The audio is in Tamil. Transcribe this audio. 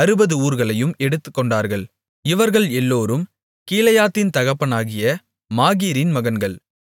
அறுபது ஊர்களையும் எடுத்துக்கொண்டார்கள் இவர்கள் எல்லோரும் கிலெயாத்தின் தகப்பனாகிய மாகீரின் மகன்கள்